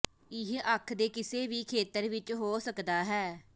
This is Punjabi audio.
ਇਹ ਅੱਖ ਦੇ ਕਿਸੇ ਵੀ ਖੇਤਰ ਵਿੱਚ ਹੋ ਸਕਦਾ ਹੈ